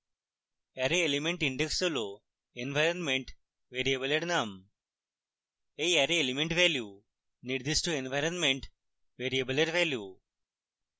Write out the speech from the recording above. array element indices হল environment ভ্যারিয়েবলের names এই অ্যারে element ভ্যালু নির্দিষ্ট ইনভাইরনমেন্ট ভ্যারিয়েবলের ভ্যালু